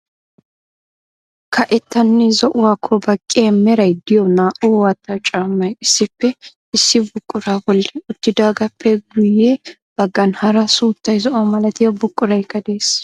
Kaeettanne zo"uwakko baqqiyaa meray de'iyo naa"u waatta caammay issippe issi buqura bolli uttidaagappe guyye baggan hara suuttay zo"o malatiyaa buquraykka de'ees.